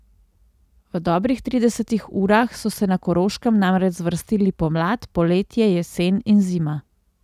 V dobrih tridesetih urah so se na Koroškem namreč zvrstili pomlad, poletje, jesen in zima.